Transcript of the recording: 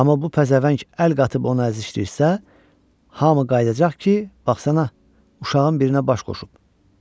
Amma bu pəzəvəng əl qatıb onu əzişdirsə, hamı qayıdacaq ki, baxsana, uşağın birinə baş qoşub.